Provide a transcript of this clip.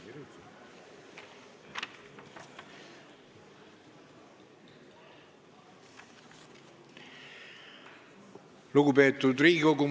Lugupeetud Riigikogu!